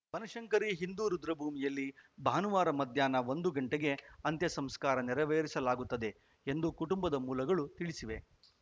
ಬನಶಂಕರಿ ಹಿಂದೂ ರುದ್ರಭೂಮಿಯಲ್ಲಿ ಭಾನುವಾರ ಮಧ್ಯಾಹ್ನ ಒಂದು ಗಂಟೆಗೆ ಅಂತ್ಯಸಂಸ್ಕಾರ ನೆರವೇರಿಸಲಾಗುತ್ತದೆ ಎಂದು ಕುಟುಂಬದ ಮೂಲಗಳು ತಿಳಿಸಿವೆ